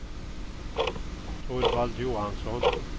Torvald Johansson